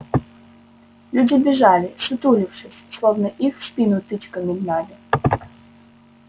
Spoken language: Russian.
люди бежали ссутулившись словно их в спину тычками гнали